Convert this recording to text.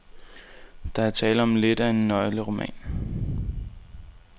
Der er tale om lidt af en nøgleroman.